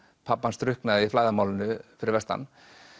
pabbi hans drukknaði í flæðarmálinu fyrir vestan